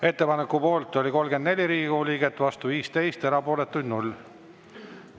Ettepaneku poolt oli 34 Riigikogu liiget, vastu 15, erapooletuid 0.